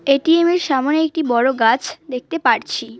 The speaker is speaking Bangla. এ_টি_এম -এর সামনে একটি বড় গাছ দেখতে পারছি।